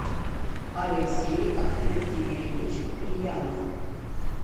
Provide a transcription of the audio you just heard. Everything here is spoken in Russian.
алексей ахметгереевич куприянов